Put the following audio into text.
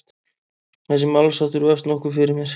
Þessi málsháttur vefst nokkuð fyrir mér.